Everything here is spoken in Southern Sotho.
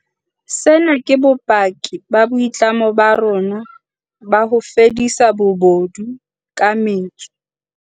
Sena ke bopaki ba boitlamo ba rona ba ho fedisa bobodu ka metso.